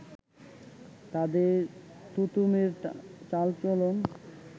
তাদের টোতেমের চাল-চলন